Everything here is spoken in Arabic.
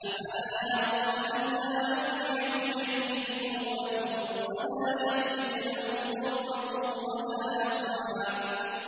أَفَلَا يَرَوْنَ أَلَّا يَرْجِعُ إِلَيْهِمْ قَوْلًا وَلَا يَمْلِكُ لَهُمْ ضَرًّا وَلَا نَفْعًا